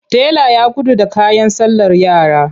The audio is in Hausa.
Tela ya gudu da kayan sallar yara.